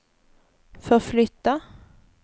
förflytta